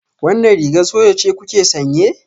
Wannan rigar soja ce kuke sanye?